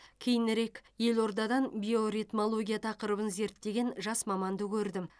кейінірек елордадан биоритмология тақырыбын зерттеген жас маманды көрдім